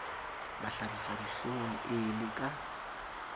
mahlabisa dihlong e le ka